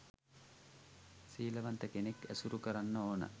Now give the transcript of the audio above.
සීලවන්ත කෙනෙක් ඇසුරු කරන්න ඕන